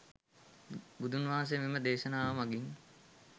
බුදුන් වහන්සේ මෙම දේශනාව මගින්